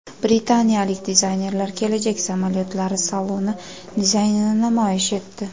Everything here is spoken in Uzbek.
Britaniyalik dizaynerlar kelajak samolyotlari saloni dizaynini namoyish etdi.